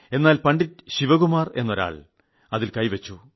എന്നാൽ പണ്ഡിറ്റ് ശിവകുമാർ എന്നൊരാൾ അതിൽ കൈവച്ചു